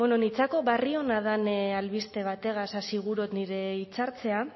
bueno nitzako barri ona dan albiste bategaz hasi gurot nire hitzartzea